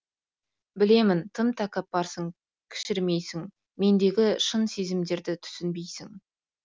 білемін тым тәкаппарсың кішірмейсің мендегі шын сезімдерді түсінбейсің